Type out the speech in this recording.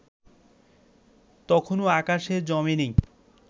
তখনো আকাশে জমে নি